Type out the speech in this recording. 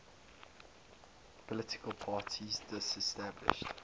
political parties disestablished